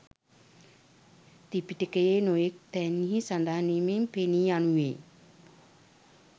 ත්‍රිපිටකයෙහි නොයෙක් තැන්හි සඳහන් වීමෙන් පෙනී යනුයේ